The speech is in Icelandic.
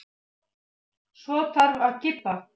Svo þarf að kippa.